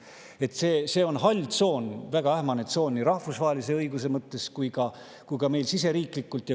Nii et see on hall tsoon, väga ähmane tsoon nii rahvusvahelise õiguse mõttes kui ka meil siseriiklikult.